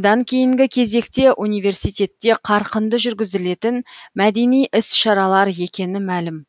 одан кейінгі кезекте университетте қарқынды жүргізілетін мәдени іс шаралар екені мәлім